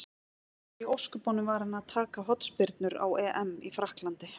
Af hverju í ósköpunum var hann að taka hornspyrnurnar á EM í Frakklandi?